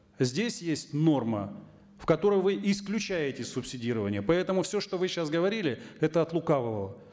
здесь есть норма в которой вы исключаете субсидирование поэтому все что вы сейчас говорили это от лукавого